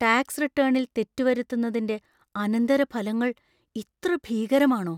Tax റിട്ടേണിൽ തെറ്റ് വരുത്തുന്നതിന്‍റെ അനന്തരഫലങ്ങൾ ഇത്ര ഭീകരമാണോ?